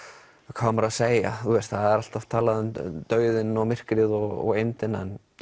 hvað á maður að segja það er alltaf talað um dauðinn og myrkrið og eymdin